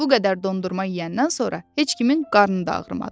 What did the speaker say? Bu qədər dondurma yeyəndən sonra heç kimin qarnı da ağrımadı.